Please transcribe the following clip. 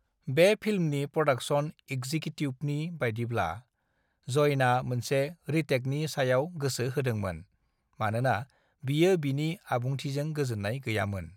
"बे फिल्मनि प्रदाक्सन एक्जिकिउटिभनि बायदिब्ला, जयना मोनसे रिटेकनि सायाव गोसो होदोंमोन, मानोना बियो बिनि आबुंथिजों गोजोन्नाय गैयामोन।"